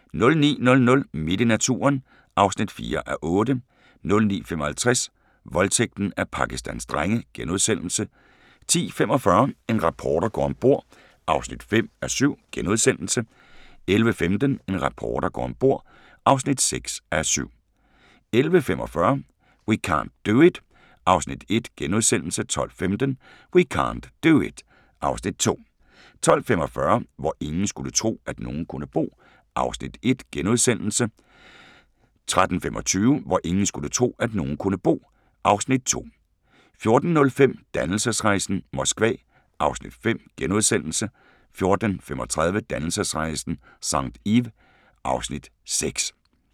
09:00: Midt i naturen (4:8) 09:55: Voldtægten af Pakistans drenge * 10:45: En reporter går om bord (5:7)* 11:15: En reporter går om bord (6:7) 11:45: We can't do it (Afs. 1)* 12:15: We can't do it (Afs. 2) 12:45: Hvor ingen skulle tro, at nogen kunne bo (Afs. 1)* 13:25: Hvor ingen skulle tro, at nogen kunne bo (Afs. 2) 14:05: Dannelsesrejsen - Moskva (Afs. 5)* 14:35: Dannelsesrejsen – St. Ives (Afs. 6)